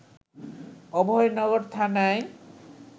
অভয়নগর থানায়